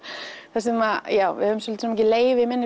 þar sem að við höfum svolítið mikið leyfi í minni